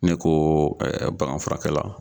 Ne ko ɛ baganfurakɛla